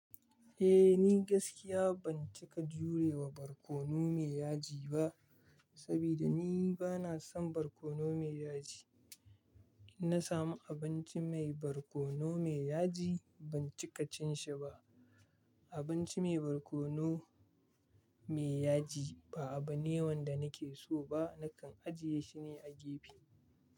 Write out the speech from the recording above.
Eh ni gaskiya ban cika jure wa barkono mai yaji ba, saboda ni bana son barkono mai yaji. In na samu abinci mai barkono mai yaji ban cika cin shi ba. Abinci mai barkono mai yaji ba abune wan da nake so ba, nakan ajiye shi ne a gefe.